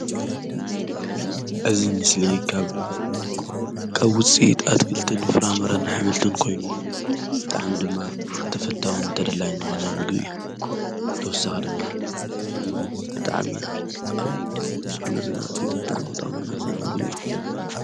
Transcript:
እዝ ምስሊ ቀብ ውፂ ትኣትክልትን ፍራምርን ኃምልቶን ኮይኑ ብጥዕሚ ድማ ተፈታውን ንተደላይን ዝኾነ ምግብ እዩ ብተወሳኽ ድማ ብጥዓሜያ ኣብሠዉነትናእትዩቃዕመውጣምናዘምግብ እዩ።